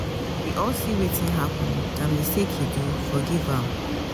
we all seewetin happen na mistake he do forgive am.